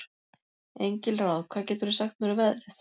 Engilráð, hvað geturðu sagt mér um veðrið?